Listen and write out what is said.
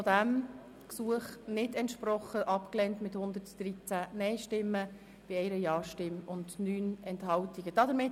Sie haben auch diesem Begnadigungsgesuch nicht entsprochen und es mit 113 NeinStimmen bei 1 Ja-Stimme und 9 Enthaltungen abgelehnt.